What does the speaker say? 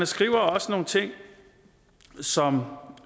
skriver også nogle ting som